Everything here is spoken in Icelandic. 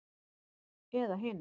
Eða hinn